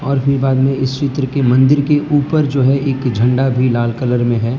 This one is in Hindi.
और फिर बाद में इस क्षेत्र की मंदिर की ऊपर जो है एक झंडा भी लाल कलर में है।